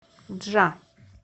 джа